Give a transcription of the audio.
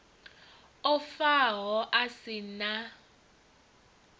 o faho a si na